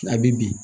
A bi bin